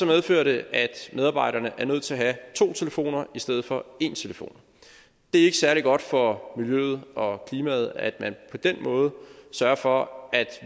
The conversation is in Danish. medfører det at medarbejderne er nødt til at have to telefoner i stedet for én telefon det er ikke særlig godt for miljøet og klimaet at man på den måde sørger for at